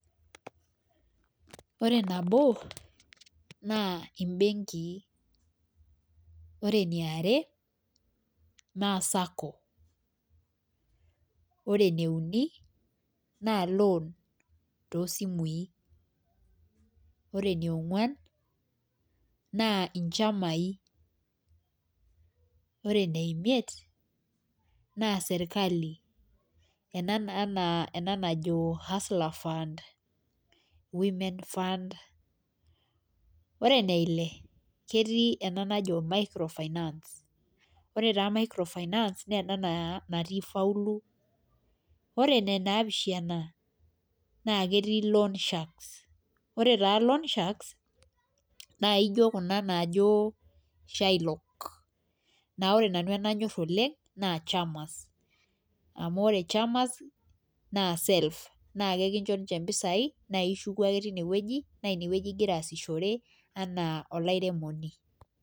Ore nabo, naa ibenkii, ore eniare, naa sacco ore eneiuni naa loan too sijui, ore enionguan naa nchamai, ore ene imiet naa sirkali, ena naa najo hustler fund women fund. ore eneile naa ketii ena najo micro finance ore taa ena naa e a natii ifauluo, ore ene naapishana naa ketii loan sharks pee taa loan sharks naa ijo kuna naajo locks naa pre nanu enanyor oleng naaa chamas, amu ore chamas naa self ,naa ekincho ninche mpisai naa ishuku ake time wueji .naa ine wueji igira ataasishore anaa olairemoni.